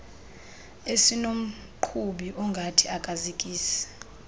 esinomqhubi ongathi akazikisi